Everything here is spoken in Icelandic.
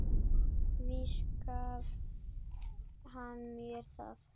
Víst gaf hann mér það